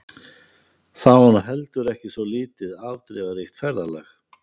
Það var nú heldur ekki svo lítið afdrifaríkt ferðalag.